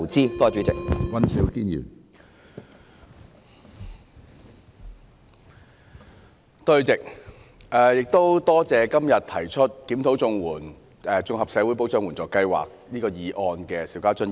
主席，感謝今天提出"檢討綜合社會保障援助計劃"議案的邵家臻議員。